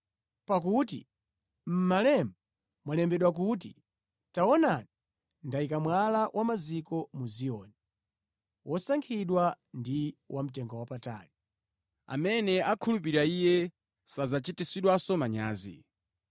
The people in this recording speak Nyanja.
Pakuti mʼMalemba mwalembedwa kuti, “Taonani, ndikuyika mwala wa maziko mu Ziyoni, wosankhika ndi wamtengowapatali. Amene akhulupirira Iye sadzachititsidwa manyazi.”